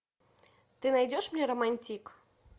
ты найдешь мне романтик